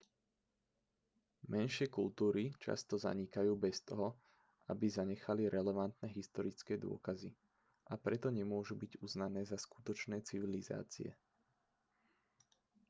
menšie kultúry často zanikajú bez toho aby zanechali relevantné historické dôkazy a preto nemôžu byť uznané za skutočné civilizácie